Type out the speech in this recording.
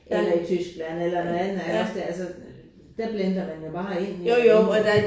Eller i Tyskland eller noget andet iggås det altså. Der blender man jo bare ind mellem dem